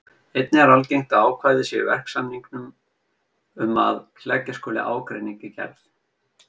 Einnig er algengt að ákvæði séu í verksamningum um að leggja skuli ágreining í gerð.